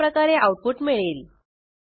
अशाप्रकारे आऊटपुट मिळेल